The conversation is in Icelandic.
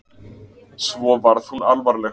Svo varð hún alvarleg.